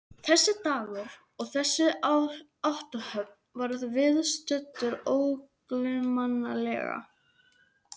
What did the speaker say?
Þessi dagur og þessi athöfn verður viðstöddum ógleymanleg.